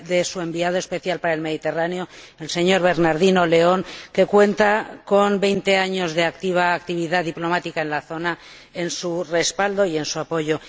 su Enviado Especial para el Mediterráneo, el señor Bernardino León, que cuenta con veinte años de activa actividad diplomática en la zona, su respaldo y su apoyo.